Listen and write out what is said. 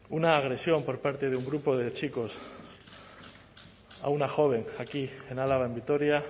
una agresión por parte de un grupo de chicos a una joven aquí en álava en vitoria